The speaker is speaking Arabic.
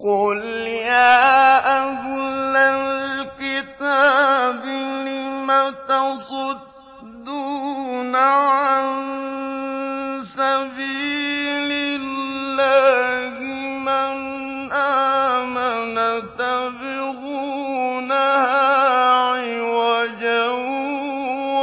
قُلْ يَا أَهْلَ الْكِتَابِ لِمَ تَصُدُّونَ عَن سَبِيلِ اللَّهِ مَنْ آمَنَ تَبْغُونَهَا عِوَجًا